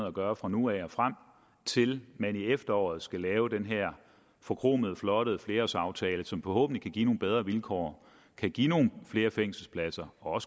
og gøre fra nu af og frem til man i efteråret skal lave den her forkromede flotte flerårsaftale som forhåbentlig kan give nogle bedre vilkår kan give nogle flere fængselspladser og